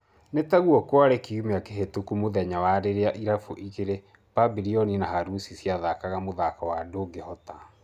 Nĩ taguo kwarĩ kiumia kĩhĩtũku mũthenya rĩrĩa irabu igĩrĩ Pabirioni na Haruci ciathakaga mũthako wa ndũngĩhota.